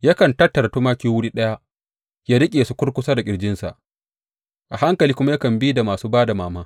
Yakan tattara tumaki wuri ɗaya yă riƙe su kurkusa da ƙirjinsa; a hankali kuma yakan bi da masu ba da mama.